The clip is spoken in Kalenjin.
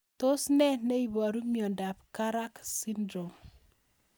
Tos nee neiparu miondop Karak syndrome